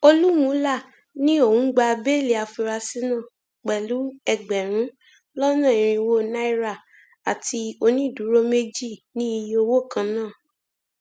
olúmúlà ní òun gba béèlì àfúráṣí náà pẹlú ẹgbẹrún lọnà irínwó náírà àti onídùúró méjì ní iye owó kan náà